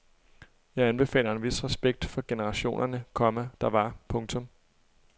Jeg anbefaler en vis respekt for generationerne, komma der var. punktum